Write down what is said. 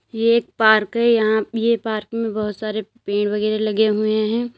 ये एक पार्क है यहां पे ये पार्क में बहुत सारे पेड़ वगैरा लगे हुए हैं।